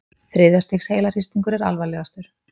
Þriðja stigs heilahristingur er alvarlegastur.